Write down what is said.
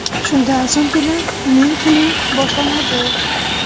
Shundan so‘nggina uning kuni boshlanadi.